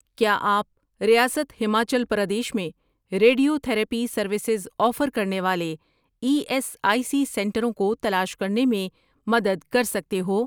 کیا آپ ریاست ہماچل پردیش میں ریڈیو تھراپی سروسز آفر کرنے والے ای ایس آئی سی سنٹروں کو تلاش کرنے میں مدد کر سکتے ہو؟